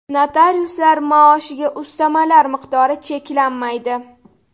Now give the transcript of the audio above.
Notariuslar maoshiga ustamalar miqdori cheklanmaydi.